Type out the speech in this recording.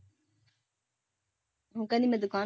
ਉਹ ਕਹਿੰਦੀ ਮੈਂ ਦੁਕਾਨ